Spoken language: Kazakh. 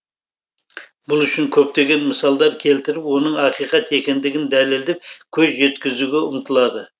бұл үшін көптеген мысалдар келтіріп оның ақиқат екендігін дәлелдеп көз жеткізуге ұмтылады